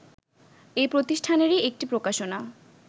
এ প্রতিষ্ঠানেরই একটি প্রকাশনা